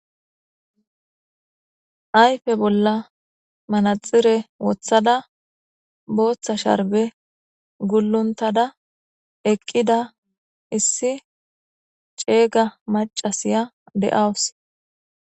Ayfe bolla manaxire woththada booththa sharbe gulluntada eqqida issi ceeyga macasiya de'awus.